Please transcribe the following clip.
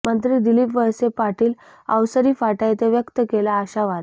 मंत्री दिलीप वळसे पाटील ः अवसरी फाटा येथे व्यक्त केला आशावाद